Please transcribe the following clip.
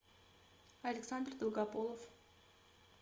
александр долгополов